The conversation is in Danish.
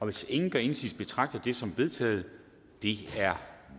hvis ingen gør indsigelse betragter jeg det som vedtaget det er